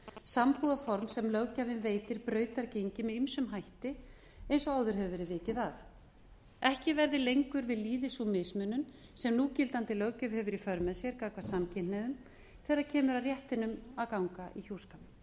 sambúðarform sem löggjafinn veitir með ýmsum hætti brautargengi með ýmsum hætti eins og áður hefur verið vikið að ekki verði lengur við lýði sú mismunun sem núgildandi löggjöf hefur í för með sér samkvæmt samkynhneigðum þegar kemur að réttindum að ganga í hjúskap